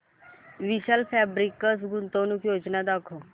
विशाल fabrics गुंतवणूक योजना दाखव